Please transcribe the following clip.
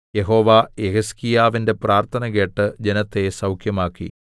യഹോവ യെഹിസ്കീയാവിന്റെ പ്രാർത്ഥന കേട്ട് ജനത്തെ സൗഖ്യമാക്കി